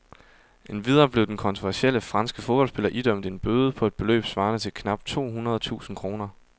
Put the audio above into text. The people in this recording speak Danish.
Endvidere blev den kontroversielle franske fodboldspiller idømt en bøde på et beløb svarende til knap tohundrede tusind kroner.